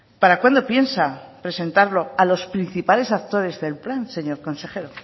para cuándo piensa presentarlo a los principales actores del plan señor consejero